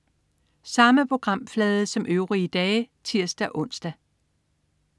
Samme programflade som øvrige dage (tirs-ons)